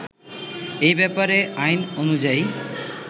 এ ব্যাপারে আইন অনুযায়ী